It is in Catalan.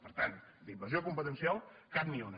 per tant d’invasió competencial cap ni una